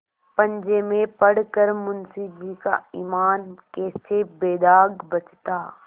पंजे में पड़ कर मुंशीजी का ईमान कैसे बेदाग बचता